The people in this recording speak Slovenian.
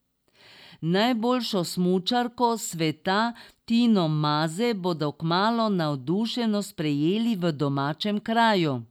Najboljšo smučarko sveta Tino Maze bodo kmalu navdušeno sprejeli v domačem kraju.